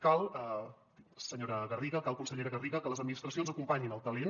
cal senyora garriga consellera garriga que les administracions acompanyin el talent